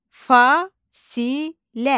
Fasılə.